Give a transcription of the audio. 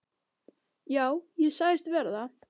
Já, ég sagðist vera það.